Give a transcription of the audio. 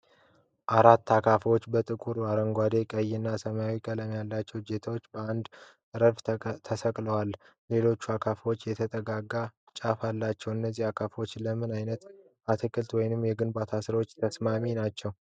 አራት አካፋዎች በጥቁር፣ አረንጓዴ፣ ቀይና ሰማያዊ ቀለም ያላቸው እጀታዎች በአንድ ረድፍ ተሰቅለዋል። ሁሉም አካፋዎች የተጠጋጋ ጫፍ አላቸው። እነዚህ አካፋዎች ለምን አይነት የአትክልት ወይም የግንባታ ሥራ ተስማሚ ናቸው?